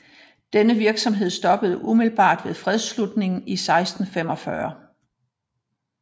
Denne virksomhed stoppede umiddelbart ved fredsslutningen i 1645